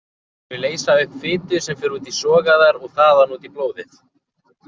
Þau leysa upp fitu sem fer út í sogæðar og þaðan út í blóðið.